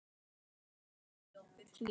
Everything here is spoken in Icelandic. Hún situr þar enn.